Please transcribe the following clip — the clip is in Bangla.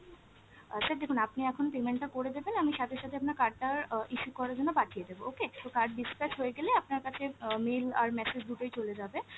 আ sir দেখুন আনি এখন payment টা করে দেবেন, আমি সাথে সাথে আপনার card টার অ issue করার জন্য পাঠিয়ে দেবো okay, তো card dispatch হয়ে গেলে আপনার কাছে অ mail আর message দুটোই চলে যাবে,